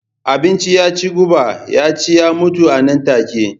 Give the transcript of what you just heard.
Abinci ya ci guba ya ci ya mutu a nan take.